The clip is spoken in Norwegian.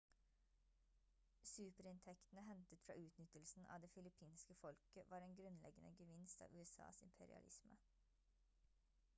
superinntektene hentet fra utnyttelsen av det filippinske folket var en grunnleggende gevinst av usas imperialisme